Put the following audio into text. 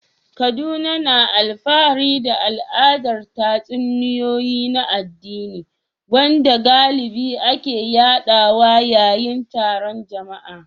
Kaduna na alfahari da al'adar tatsuniyoyi na addini, wanda galibi ake yaɗawa yayin taron jama'a.